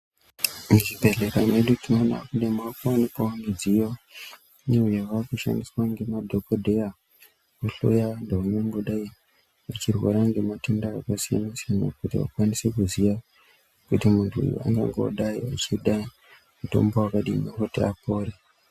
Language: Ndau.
Muzvibhehlera medu tionoona kune maakuwanikwawo midziyo iyo yavakushandiswa ngemadhogodheya yekuhloya vantu vangangodai vachirwara ngematenda akasiyana-siyana. Kuti vakwanise kuziya kuti muntu uyu angangodai achida mutombo wakadini kuti apore.